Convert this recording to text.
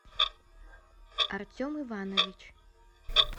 артем иванович